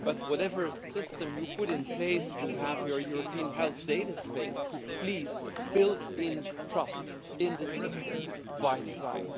But whatever system you put in place to have your European health data space, please build trust into the systems by design.